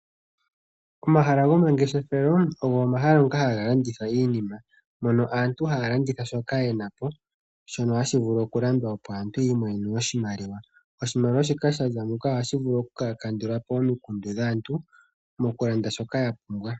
Omahala go mangeshefelo ogo omahala ngoka haga landitha iinima, mono aantu haya landitha shoka yena po shoka hashi vulu okulandwa opo aantu yimonene oshimaliwa, oshimaliwa shika shaza muka ohashi vulu oku kandulapo omikundu dhaantu mokulanda shoka yapumbwa.